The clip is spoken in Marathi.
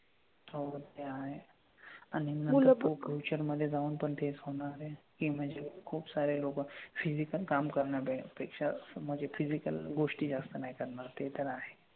हो ते आहे आणि नंतर तो future मधे जाऊन पण तेच होणार आहे की म्हणजे खुपसारे लोकं physical काम करण्यापेक्षा म्हणजे physical गोष्टी जास्त नाही करणार. ते तर आहे.